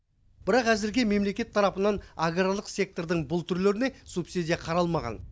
бірақ әзірге мемлекет тарапынан аграрлық сектордың бұл түрлеріне субсидия қаралмаған